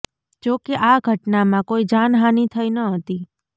જો કે આ ઘટનામાં કોઇ જાનહાનિ થઇ ન હતી